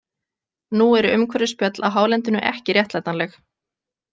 Nú eru umhverfisspjöll á hálendinu ekki réttlætanleg.